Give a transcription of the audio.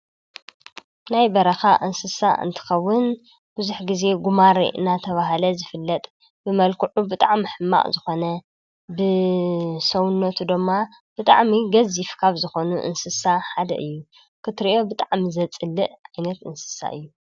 ናይ በረኻ እንስሳ እንትኸውን ቡዙሕ ግዜ ጉማሬ እንዳተባሃለ ይፍለጥ፡፡ ብመልክዑ ብጣዕሚ ሕማቅ ዝኾነ ብሰውነቱ ድማ ብጣዕሚ ገዙፍ ካብ ዝኾኑ እንስሳ ሓደ እዩ፡፡ ክትሪኦ ብጣዕሚ ዘፅልእ ዓይነት እንስሳ እዩ፡፡